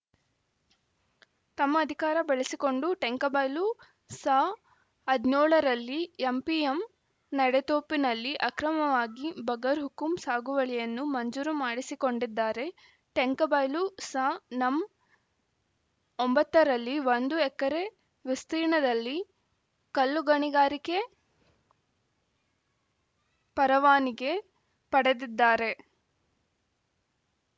ತಮ್ಮ ಅಧಿಕಾರ ಬಳಸಿಕೊಂಡು ಟೆಂಕಬೈಲು ಸ ಹದಿನೇಳ ರಲ್ಲಿ ಎಂಪಿಎಂ ನೆಡುತೋಪಿನಲ್ಲಿ ಅಕ್ರಮವಾಗಿ ಬಗರ್‌ಹುಕುಂ ಸಾಗುವಳಿಯನ್ನು ಮಂಜೂರು ಮಾಡಿಸಿಕೊಂಡಿದ್ದಾರೆ ಟೆಂಕಬೈಲು ಸನಂ ಒಂಬತ್ತ ರಲ್ಲಿ ಒಂದು ಎಕರೆ ವಿಸ್ತೀರ್ಣದಲ್ಲಿ ಕಲ್ಲುಗಣಿಗಾರಿಕೆ ಪರವಾನಿಗೆ ಪಡೆದಿದ್ದಾರೆ